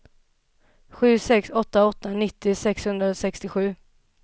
sju sex åtta åtta nittio sexhundrasextiosju